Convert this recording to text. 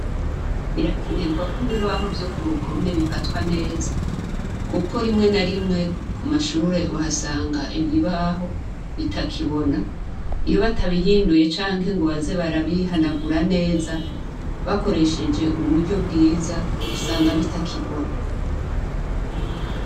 Birakenerwa ko ibibaho vyo k'uruhome bifatwa neza, kuko rimwe na rimwe ku mashure, uhasanga ibibaho bitakibona. Iyo batabihinduye canke ngo baze barabihanagura neza, bakoresheje uburyo bwiza , usanga bitakibona.